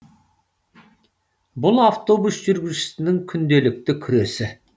бұл автобус жүргізушісінің күнделікті күресі